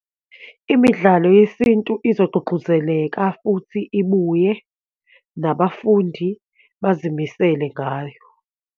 Imidlalo yesintu izogqugquzeleka futhi ibuye, nabafundi bazimisele ngayo.